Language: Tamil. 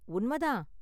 உண்ம தான்.